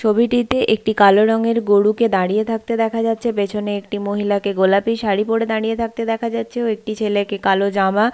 ছবিটিতে একটি কালো রঙের গরুকে দাঁড়িয়ে থাকতে দেখা যাচ্ছে পেছনে একটি মহিলা কে গোলাপি শাড়ি পরে দাঁড়িয়ে থাকতে দেখা যাচ্ছে ও একটি ছেলেকে কালো জামা- আ--